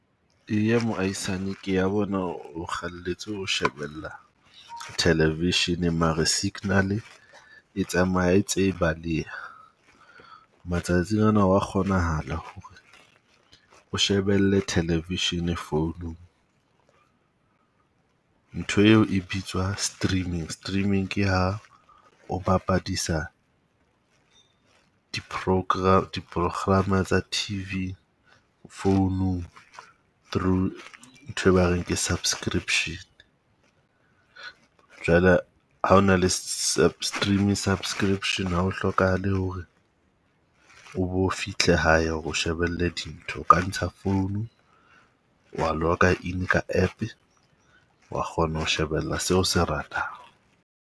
Eya moahisane ke ya bona o shebella television mare signal-e e tsamaya e ntse baleha. Matsatsing ana hwa kgonahala ho re o shebelle television founung. Ntho eo e bitswa streaming. Streaming ke ha o bapadisa diprograma tsa T_V founung through ntho e ba reng ke subscription. Jwale ha ona le streaming subscription ha o hlokahale ho re o bo fihle hae, o bo shebelle dintho. O ka ntsha founu wa log-a in ka App wa kgona ho shebella seo se ratang.